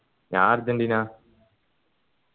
ഞാൻ അര്ജന്റീന